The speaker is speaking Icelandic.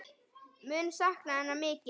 Mun sakna hennar mikið.